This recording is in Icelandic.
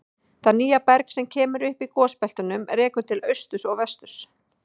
Það nýja berg sem kemur upp í gosbeltunum rekur til austurs og vesturs.